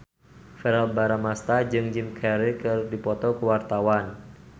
Verrell Bramastra jeung Jim Carey keur dipoto ku wartawan